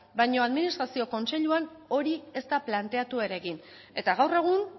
baino administrazio kontseiluan hori ez da planteatu ere egin eta gaur egun